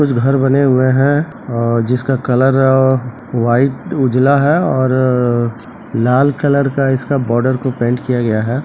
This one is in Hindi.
कुछ घर बने हुए हैं और जिसका कलर व्हाइट उजला है और लाल कलर का इसका बॉर्डर को पैंट किया गया है।